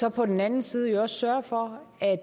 og på den anden side også sørger for at